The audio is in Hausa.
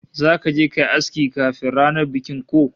Zaka je kayi aski kafin ranar bikin ko?